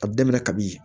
A bɛ daminɛ kabi